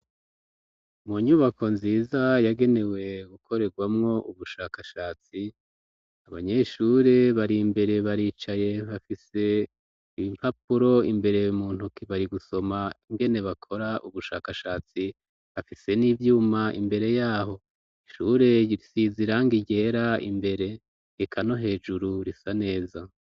Mu nyubako nziza yagenewe gukorerwamwo ubushakashatsi abanyeshure bari imbere baricaye bafise iimpapuro imbere mu ntuki bari gusoma ingene bakora ubushakashatsi bafise n'ivyuma imbere yaho ishure siziranga iryera a imbere ekano hejuru risa neza.